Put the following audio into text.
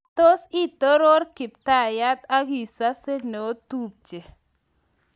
matos itoror Kiptayat agisase neo tupche